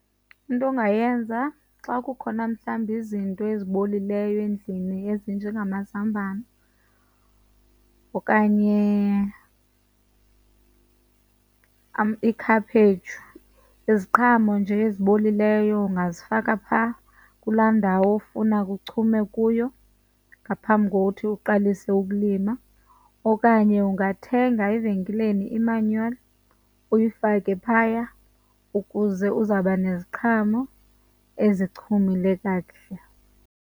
Into ongayenza xa kukhona mhlawumbi izinto ezibolileyo endlini ezinjengamazambane okanye ikhaphetshu, iziqhamo nje ezibolileyo, ungazifaka phaa kulaa ndawo ofuna kuchume kuyo ngaphambi kokuthi uqalise ukulima. Okanye ungathenga evenkileni imanyola uyifake phaya ukuze uzawuba neziqhamo ezichumile kakuhle.